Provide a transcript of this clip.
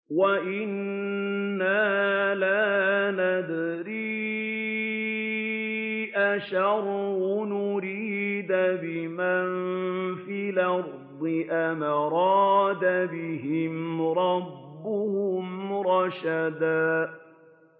وَأَنَّا لَا نَدْرِي أَشَرٌّ أُرِيدَ بِمَن فِي الْأَرْضِ أَمْ أَرَادَ بِهِمْ رَبُّهُمْ رَشَدًا